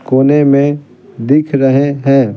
कोने में दिख रहे हैं ।